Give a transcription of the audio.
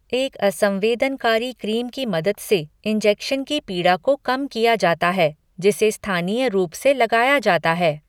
एक असंवेदनकारी क्रीम की मदद से इंजेक्शन की पीड़ा को कम किया जाता है, जिसे स्थानीय रूप से लगाया जाता है।